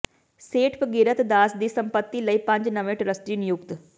ਸੇਠ ਭਗੀਰਥ ਦਾਸ ਦੀ ਸੰਪਤੀ ਲਈ ਪੰਜ ਨਵੇਂ ਟਰੱਸਟੀ ਨਿਯੁਕਤ